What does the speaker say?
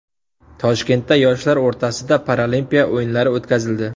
Toshkentda yoshlar o‘rtasida paralimpiya o‘yinlari o‘tkazildi.